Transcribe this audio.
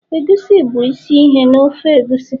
egusi bụ isi ihe na ofe egusi